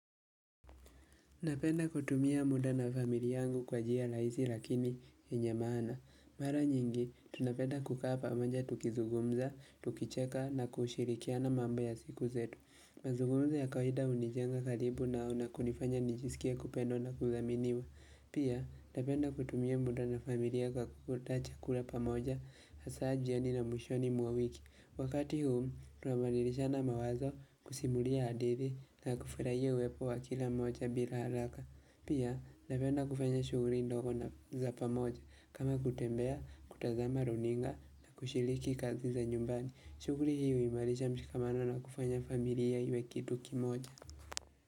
Napenda kutumia muda na famili yangu kwa njia rahisi lakini yenye maana. Mara nyingi, tunapenda kukaa pamoja tukizugumza, tukicheka na kushirikiana mambo ya siku zetu. Mazugumzo ya kawaida hunijenga karibu nao na kunifanya nijisikie kupendwa na kudhaminiwa. Pia, napenda kutumia muda na familia kwa kula pamoja, hasa jioni na mwishoni mwa wiki. Wakati huu, tunabadilishana mawazo kusimulia hadithi na kufurahia uwepo wa kila mmoja bila haraka. Pia, napenda kufanya shughuli ndogo na za pamoja. Kama kutembea, kutazama runinga na kushiriki kazi za nyumbani. Shughuli hii huimarisha mshikamano na kufanya familia iwe kitu kimoja.